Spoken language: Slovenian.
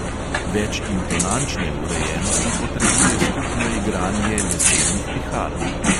Več intonančne urejenosti potrebuje skupno igranje lesenih pihal.